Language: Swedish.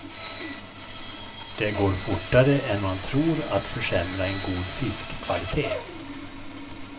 Det går fortare än man tror att försämra en god fiskkvalitet.